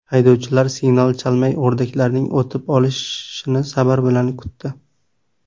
Haydovchilar signal chalmay, o‘rdaklarning o‘tib olishini sabr bilan kutdi.